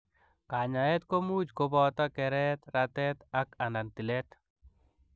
Kanyaet komuuch kopotoo kereet, rateet aka anan tileet